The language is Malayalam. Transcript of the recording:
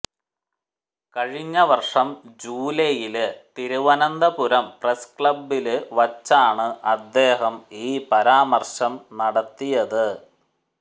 കഴിഞ്ഞവര്ഷം ജൂലൈയില് തിരുവനന്തപുരം പ്രസ് ക്ലബ്ബില് വച്ചാണ് അദ്ദേഹം ഈ പരാമര്ശം നടത്തിയത്